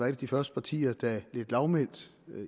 af de første partier der lidt lavmælt